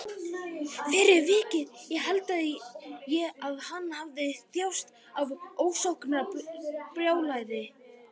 Fyrir vikið held ég að hann hafi þjáðst af ofsóknarbrjálæði.